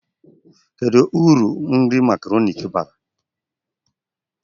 Kedu uru nri makaroni bara?